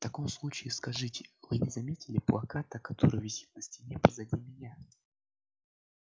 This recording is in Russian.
в таком случае скажите вы не заметили плаката который висит на стене позади меня